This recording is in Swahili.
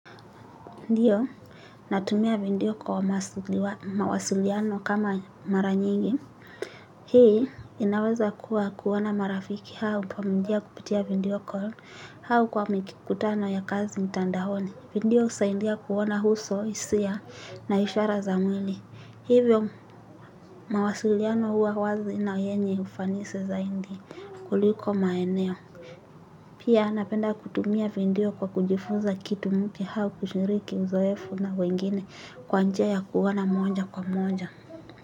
Ndiyo, natumia video kwa mawasiliano kama mara nyingi. Hii, inaweza kuwa kuwa na marafiki au pamoja kupitia video call kwa au kwa mikikutano ya kazi mtandaoni. Video husaidia kuona uso, hisia na ishara za mwili. Hivyo, mawasiliano huwa wazi na yenye ufanisi zaidi kuliko maeneo. Pia napenda kutumia video kwa kujifuza kitu mpya hao kushiriki uzoefu na wengine kwa njia ya kuona moja kwa moja.